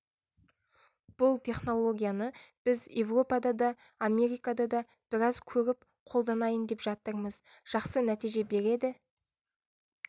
бұл технологияны біз еуропада да америкада да біраз көріп қолданайын деп жатырмыз жақсы нәтиже береді